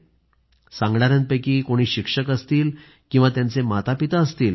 आता सांगणाऱ्यांपैकी मग कोणी शिक्षक असतील किंवा त्यांचे मातापिता असतील